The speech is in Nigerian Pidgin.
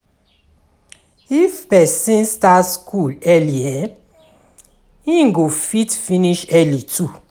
If person start school early um im go fit finish early too